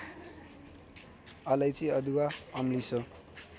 अलैची अदुवा अम्लिसो